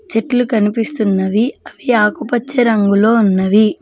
చెట్లు కనిపిస్తున్నవి అవి ఆకుపచ్చ రంగులో ఉన్నవి.